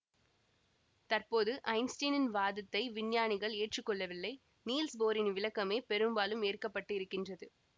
தற்போது ஐன்ஸ்டைனின் வாதத்தை விஞ்ஞானிகள் ஏற்று கொள்ளவில்லை நீல்ஸ் போரின் விளக்கமே பெரும்பாலும் ஏற்கப்பட்டு இருக்கின்றது